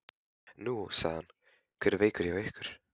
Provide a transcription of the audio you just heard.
Nú, sagði hann, hver er veikur hjá ykkur?